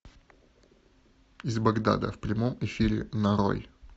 из багдада в прямом эфире нарой